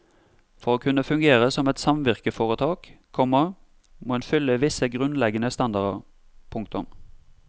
For å kunne fungere som et samvirkeforetak, komma må en fylle visse grunnleggende standarder. punktum